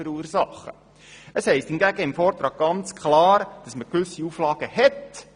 Es heisst hingegen im Vortrag ganz klar, dass man gewisse Auflagen hat.